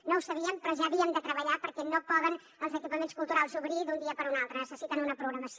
no ho sabíem però ja havíem de treballar perquè no poden els equipaments culturals obrir d’un dia per un altre necessiten una programació